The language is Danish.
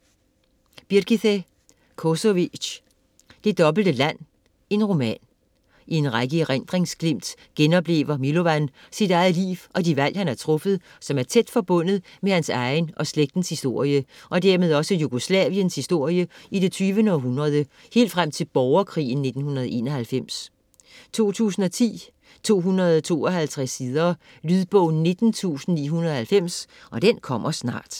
Kosovi´c, Birgithe: Det dobbelte land: roman I en række erindringsglimt genoplever Milovan sit eget liv og de valg, han har truffet, som er tæt forbundet med hans egen og slægtens historie, og dermed også Jugoslaviens historie i det 20. århundrede, helt frem til borgerkrigen i 1991. 2010, 252 sider. Lydbog 19990 Kommer snart